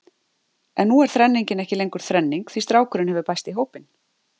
En nú er þrenningin ekki lengur þrenning því strákurinn hefur bæst í hópinn.